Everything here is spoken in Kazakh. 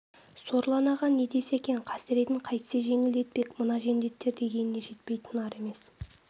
сорлы анаға не десе екен қасыретін қайтсе жеңілдетпек мына жендеттер дегеніне жетпей тынар емес